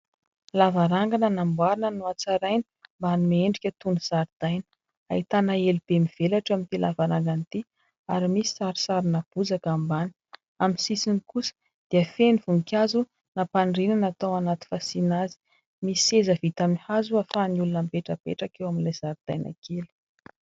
Lavarangana namboarina, natsaraina mba hanome endrika toy ny zaridaina. Ahitana elo be mivelatra eo amin'ity lavarangana ity ary misy sarisarina bozaka ambany. Amin'ny sisiny kosa dia feno voninkazo nampaniriana, natao anaty fasiana azy. Misy seza vita amin'ny hazo atao ho an'ny olona mipetrapetraka eo amin'ilay zaridaina kely.